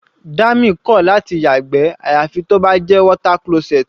Dami kò láti yàgbẹ́ àyàfi tó bá jẹ́ water closet.